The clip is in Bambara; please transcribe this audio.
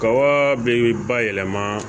Kawaa bɛ bayɛlɛma